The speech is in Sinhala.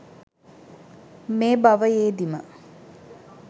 මේ භවයේදීම